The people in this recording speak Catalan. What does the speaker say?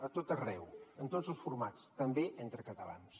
a tot arreu en tots els formats també entre catalans